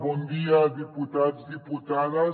bon dia diputats diputades